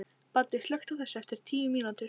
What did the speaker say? Baddi, slökktu á þessu eftir tíu mínútur.